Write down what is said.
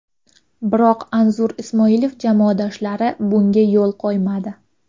Biroq Anzur Ismoilov jamoadoshlari bunga yo‘l qo‘ymadi.